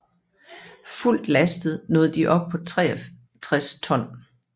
Fuldt lastet nåede de op på 63 ton